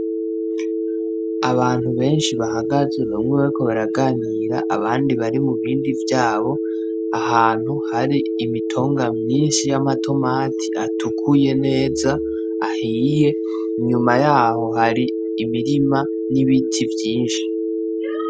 Abantu benshi bahagaze, bamwe bariko baraganira, abandi bari mu bindi vyabo ahantu hari imitonga myinshi y'amatomati atukuye neza, ahiye, inyuma yaho hari imirima y'ibiti vyinshi